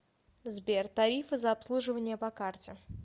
сбер тарифы за обслуживание по карте